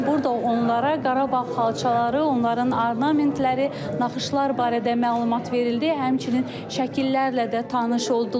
Burda onlara Qarabağ xalçaları, onların ornamentləri, naxışlar barədə məlumat verildi, həmçinin şəkillərlə də tanış oldular.